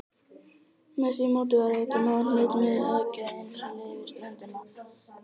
Með því móti væri hægt að ná hnitmiðuðu höggi á innrásarliðið við ströndina.